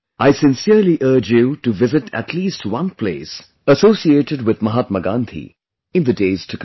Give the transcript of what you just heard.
I sincerely urge you to visit at least one place associated with Mahatma Gandhi in the days to come